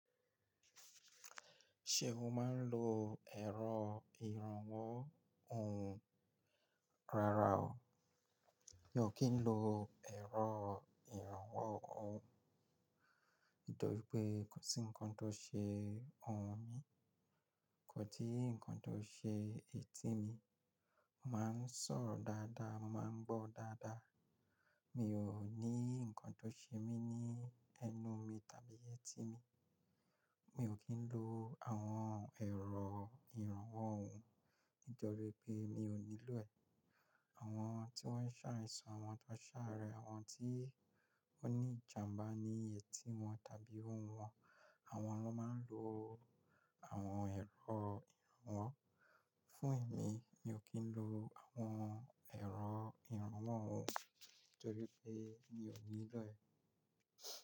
Ṣé o máa ń lo ẹ̀rọ ìrànwọ́ ohùn? Rárá o, mi ò kí ń lo ẹ̀rọ ìrànwọ́ ohùn, nítorí pé kò sí nnkan tó ṣe ohùn mi, kò sì nnkan tó ṣe etí mi. Mo máa ń sọ̀rọ̀ dáadáa, mo máa ń gbọ́ dáadáa. Mi ò ní nnkan tó ṣe mí ní ẹnu mi tàbí etí mi. Mi ò kí ń lo àwọn ẹ̀rọ ìrànwọ́ ohùn nítorí pé mi ò nílò ẹ̀. Àwọn tí wọ́n ń ṣàìsàn, àwọn tó ṣàárẹ̀, àwọn tí ó ní ìjàmbá ní etí wọn tàbí ohùn wọn, àwọn ló máa ń lo àwọn ẹ̀rọ ìrànwọ́. Fún èmi, mi ò kí ń lo àwọn ẹ̀rọ ìrànwọ́ ohùn nítorí pé mi ò nílò ẹ̀